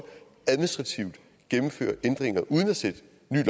administrativt gennemfører ændringer uden at sætte